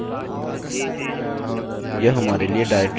यह डाइरेक्टरी के कंटेंट्स नहीं होगा